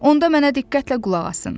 Onda mənə diqqətlə qulaq asın.